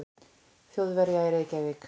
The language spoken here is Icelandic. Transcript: Þjóðverja í Reykjavík.